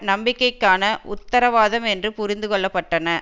நம்பிக்கைக்கான உத்தரவாதம் என்று புரிந்து கொள்ள பட்டன